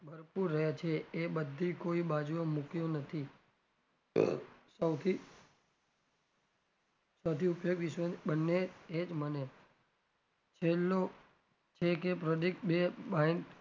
ફરતું રે છે એ બધી કોઈ બાજુ મુક્યું નથી સૌથી સૌથી ઉપયોગ વિશ્વને બંને એ જ બને છેલ્લું છે કે બે baiden